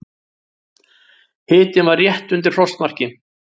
Hitinn var rétt undir frostmarki.